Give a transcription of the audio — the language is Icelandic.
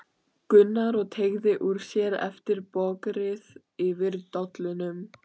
Gunnar og teygði úr sér eftir bogrið yfir dollunum.